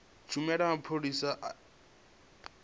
tshumelo ya mapholisa a afurika